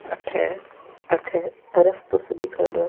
अठे अठे रास्तो सो दिखेडो है।